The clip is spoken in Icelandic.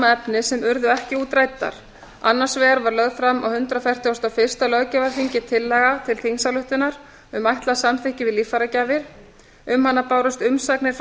efni sem urðu ekki útræddar annars vegar var lögð fram á hundrað fertugasta og fyrsta löggjafarþingi tillaga til þingsályktunar um ætlað samþykki við líffæragjafir um hana bárust umsagnir frá